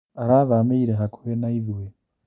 Arathamĩire hakuhĩ na ithuĩ